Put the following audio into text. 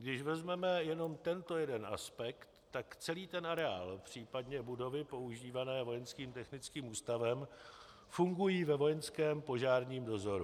Když vezmeme jenom tento jeden aspekt, tak celý ten areál, případně budovy používané Vojenským technickým ústavem fungují ve vojenském požárním dozoru.